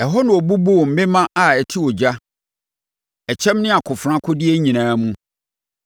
Ɛhɔ na ɔbubuu mmemma a ɛte ogya, ɛkyɛm ne akofena, akodeɛ nyinaa mu.